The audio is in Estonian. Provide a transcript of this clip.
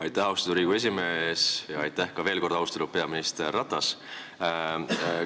Aitäh, austatud Riigikogu esimees, ja aitäh veel kord, austatud peaminister Ratas!